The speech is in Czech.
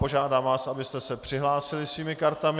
Požádám vás, abyste se přihlásili svými kartami.